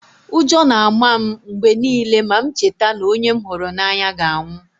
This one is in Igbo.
Ụjọ na-ama m mgbe niile ma m cheta na onye m hụrụ n’anya ga-anwụ